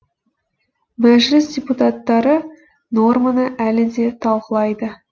мәжіліс депутаттары норманы әлі де талқылайды